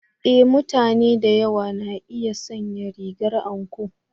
E! mutane da yawa na iya sanya rigar anko.